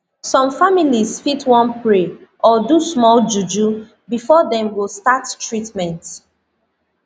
some families fit wan pray or do small juju before dem go start treatment